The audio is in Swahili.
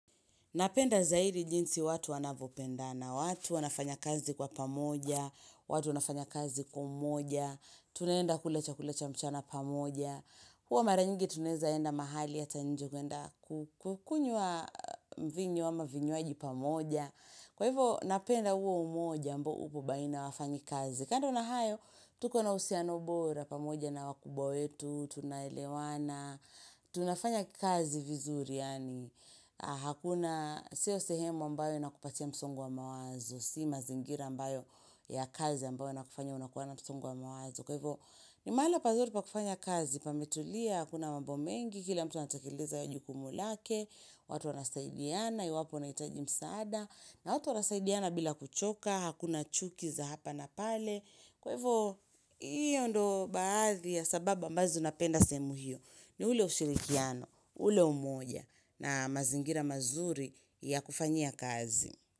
Napenda zaidi jinsi watu wanavopendana watu wanafanya kazi kwa pamoja, watu wanafanya kazi umoja, tuneenda kula chakula cha mchana pamoja. Huwa mara nyingi tunaezaenda mahali ata nje kuenda kukunywa mvinyo ama vinywaji pamoja. Kwa hivo napenda huo umoja ambao upo baina ya wafanyi kazi. Kando na hayo, tuko na usiano bora pamoja na wakubwa wetu, tunaelewana, tunafanya kazi vizuri yani. Hakuna sio sehemu ambayo inakupatia msongo wa mawazo Si mazingira ambayo ya kazi ambayo yanakufanya unakuwa na msongo wa mawazo Kwa hivyo ni mahali pazuri pa kufanya kazi pametulia, hakuna mambo mengi, kila mtu anatakeleza jukumu lake watu wanasaidiana, iwapo unaitaji msaada na watu wanasaidiana bila kuchoka, hakuna chuki za hapa na pale Kwa hivyo hiyo ndo baadhi ya sababu ambazo napenda sehemu hio ni ule ushirikiano, ule umoja na mazingira mazuri ya kufanya kazi.